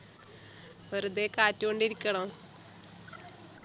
വെറുതെ കാറ്റ് കൊണ്ട് ഇരിക്കണോ